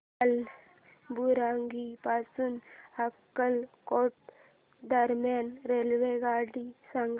कालाबुरागी पासून अक्कलकोट दरम्यान रेल्वेगाडी सांगा